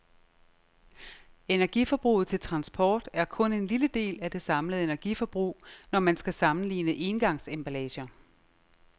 Energiforbruget til transport er kun en lille del af det samlede energiforbrug, når man skal sammenligne engangsemballager.